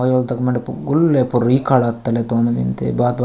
ओयो तक मंड गुल्ले पूरी कड़ा तने तोंन मिन्दे।